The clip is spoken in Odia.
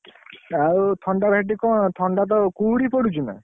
ଆଉ ଥଣ୍ଡାରେ ସେଠି କଣ ଥଣ୍ଡା ତ କୁହୁଡି ପଡୁଛି ନା?